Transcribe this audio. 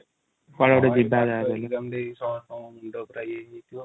କୁଆଡେ ଗିଟେ ଯିବା ବୋଲି |